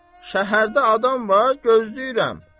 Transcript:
Şəhərdə adam var, gözləyirəm.